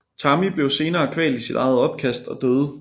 Tammy blev senere kvalt i sit eget opkast og døde